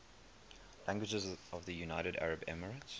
languages of the united arab emirates